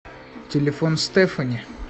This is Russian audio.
телефон стефани